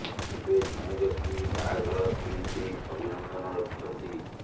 ଏବେ ଜଣେ ବ୍ୟକ୍ତି ବାହାଘର ଥିମ୍ ବି ଅଭିନନ୍ଦନ ରଖିଛନ୍ତି